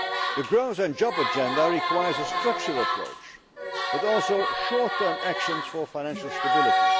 The growth and jobs agenda requires a structural approach, but also short term actions for financial stability.